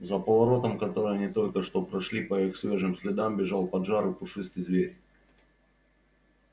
за поворотом который они только что прошли по их свежим следам бежал поджарый пушистый зверь